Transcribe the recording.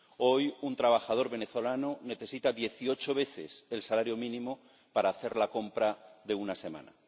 Hoy un trabajador venezolano necesita dieciocho veces el salario mínimo para hacer la compra de una semana.